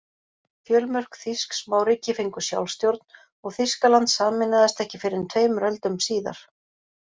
Fjölmörg þýsk smáríki fengu sjálfstjórn og Þýskaland sameinaðist ekki fyrr en tveimur öldum síðar.